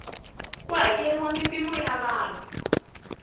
ku hakeriwa mimpimo ya vana